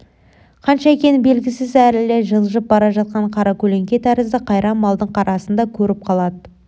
қанша екені білгісіз әлі жылжып бара жатқан қаракөлеңке тәрізді қайран малдың қарасын да көріп қалады